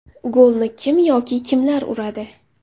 Golni kim yoki kimlar uradi?